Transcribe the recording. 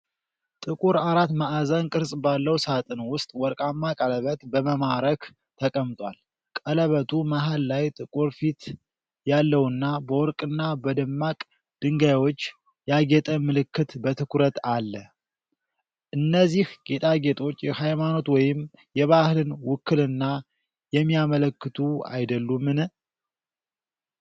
ጥቁር አራት ማዕዘን ቅርጽ ባለው ሣጥን ውስጥ ወርቃማ ቀለበት በማማረክ ተቀምጧል። ቀለበቱ መሃል ላይ ጥቁር ፊት ያለውና በወርቅና በደማቅ ድንጋዮች ያጌጠ ምልክት በትኩረት አለ። እነዚህ ጌጣጌጦች የሃይማኖት ወይም የባህልን ውክልና የሚያመለክቱ አይደሉምን?